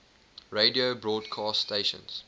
radio broadcast stations